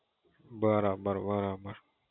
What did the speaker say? બરાબર બરાબર